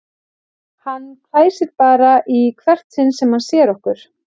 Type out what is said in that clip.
Hann hvæsir bara í hvert sinn sem hann sér okkur